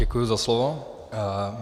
Děkuji za slovo.